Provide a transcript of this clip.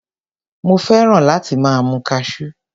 Mo fẹ́ràn láti máa mu Cashew.